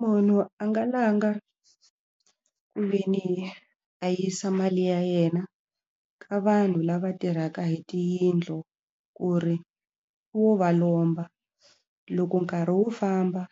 Munhu a nga langha ku ve ni a yisa mali ya yena ka vanhu lava tirhaka hi tiyindlu ku ri wo va lomba loko nkarhi wu famba